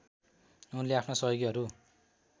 उनले आफ्ना सहयोगीहरू